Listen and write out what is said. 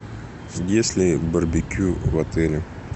есть ли барбекю в отеле